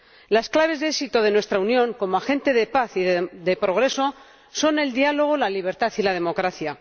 Las claves de éxito de nuestra Unión como agente de paz y de progreso son el diálogo, la libertad y la democracia.